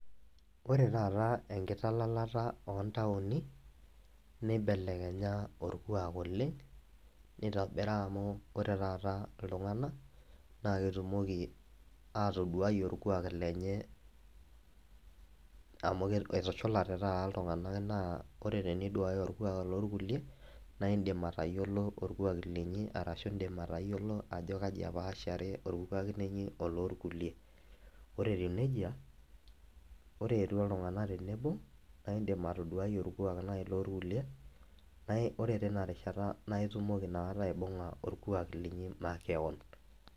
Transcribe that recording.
Ore taata enkitalalata ontauni neibelenya orkuak oleng nitobira amu ore taata ltunganak na ketumoki atoduai orkuak lenye amu etushulate taata ltunganak na ore eniduaki orkuak lorkulie naindim atayiolo orkuak linyi ashi indim atayiolo ajo kai epaashare orkuak linyi olorkulie ,ore etiu nejia ore eti ltunganak tenebo nidim atoduai nai orkuak lorkulie ore tinarishata na itumoki nakata aibunga orkuak linyi makeon.